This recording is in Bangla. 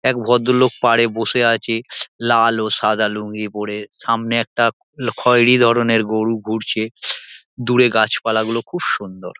এক ভদ্রলোক পাড়ে বসে আছে লাল ও সাদা লুঙ্গি পরে। সামনে একটা খয়রী ধরনের গরু ঘুরছে দূরে গাছপালা গুলো খুব সুন্দর।